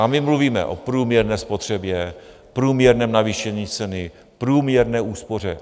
A my mluvíme o průměrné spotřebě, průměrném navýšení ceny, průměrné úspoře.